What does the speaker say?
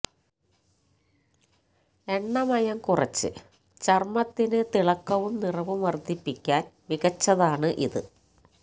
എണ്ണമയം കുറച്ച് ചര്മ്മത്തിന് തിളക്കവും നിറവും വര്ദ്ധിപ്പിക്കാന് മികച്ചതാണ് ഇത്